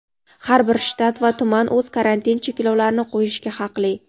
har bir shtat va tuman o‘z karantin cheklovlarini qo‘yishga haqli.